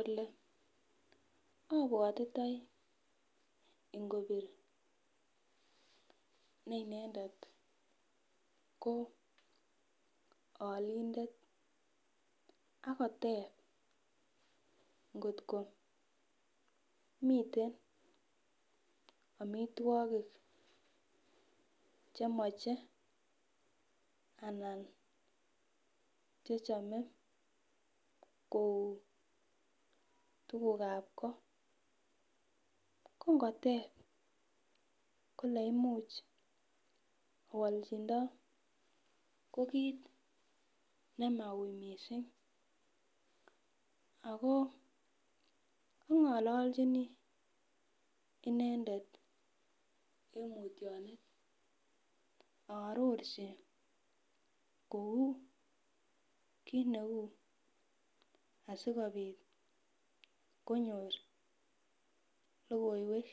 Ole abwatitoi ingokelene inendet koo alindet akoteeb ngot komiten amitwogik chemoche anan chechomee koo tugukab goo kongoteb ko olimuch awolchindoo ko kit nemaui missing akoo ang'olochini inendet en mutyonet ,aarorchi kou kit neu asikobit konyor logoiwek